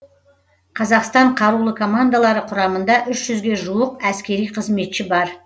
қазақстан қарулы командалары құрамында үш жүзге жуық әскери қызметші бар